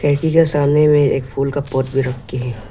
पेटी का सामने में एक फूल का पॉट भी रख के है।